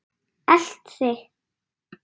Elt þig?